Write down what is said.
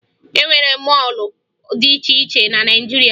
E nwere mọọlụ dị iche iche na Naịjirịa